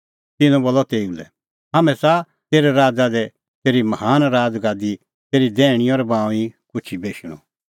तिन्नैं बोलअ तेऊ लै हाम्हैं च़ाहा तेरै राज़ा दी तेरी महान राज़गादी दी तेरी दैहणीं और बाऊंईं कुछी बेशणअ